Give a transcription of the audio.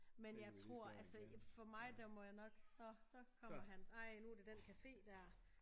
Men jeg tror altså for mig der må jeg nok nå så kommer han ej nu det den cafe der